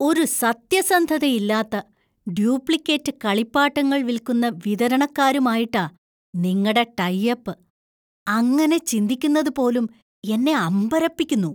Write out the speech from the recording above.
ഒരു സത്യസന്ധതയില്ലാത്ത, ഡ്യൂപ്ലിക്കേറ്റ് കളിപ്പാട്ടങ്ങൾ വിൽക്കുന്ന, വിതരണക്കാരുമായിട്ടാ നിങ്ങടെ ടൈ അപ്പ്! അങ്ങനെ ചിന്തിക്കുന്നത് പോലും എന്നെ അമ്പരപ്പിക്കുന്നു.